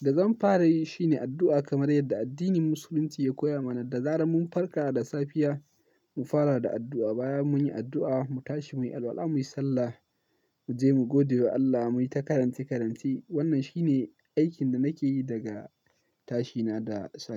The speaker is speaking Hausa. da zan fara yi shine addu'a kamar yadda addinin musulunci ya koya mana. Da zaran mun farka da safiya mu fara da addu'a, baya mun yi addu'a, mu tashi muyi alwala, muyi sallah, mu je mu gode wa Allah, muyi ta karance karance. Wannan shine aikin da nake yi daga tashina da safe.